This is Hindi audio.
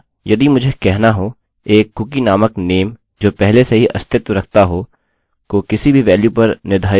अतः यदि मुझे कहना हो एक कुकीcookie नामक name जो पहले से ही अस्तित्व रखता हो को किसी भी वेल्यु पर निर्धारित नहीं करना है